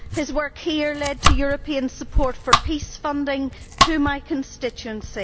His work here led to European support for peace funding for my constituency.